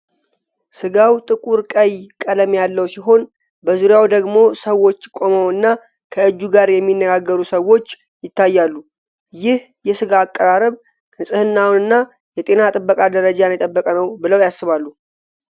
ሥጋው ጥቁር ቀይ ቀለም ያለው ሲሆን፣ በዙሪያው ደግሞ ሰዎች ቆመውና ከእጁ ጋር የሚነጋገሩ ሰዎች ይታያሉ። ይህ የሥጋ አቀራረብ ንጽህናንና የጤና ጥበቃ ደረጃን የጠበቀ ነው ብለው ያስባሉ?